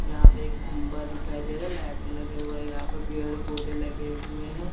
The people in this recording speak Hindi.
यहा पे एक खम्बा दिखाई दे रहा है लाइट लगे हुए है यहां पर पेड़ पौधे लगे हुए है।